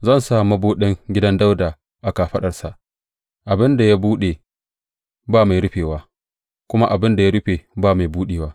Zan sa mabuɗin gidan Dawuda a kafaɗarsa; abin da ya buɗe ba mai rufewa, kuma abin da ya rufe ba mai buɗewa.